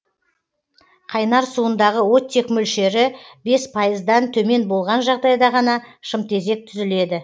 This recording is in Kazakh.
қайнар суындағы оттек мөлшері бес пайыздан төмен болған жағдайда ғана шымтезек түзіледі